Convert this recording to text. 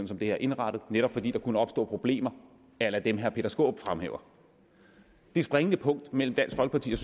som det er indrettet netop fordi der kunne opstå problemer a la dem herre peter skaarup fremhæver det springende punkt mellem dansk folkeparti